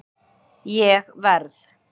Ég verð